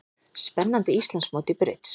Spennandi Íslandsmót í brids